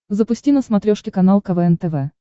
запусти на смотрешке канал квн тв